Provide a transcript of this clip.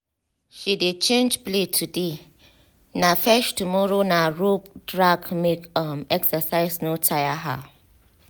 she dey change play today na fetch tomorrow na rope drag make um exercise no taya her